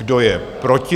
Kdo je proti?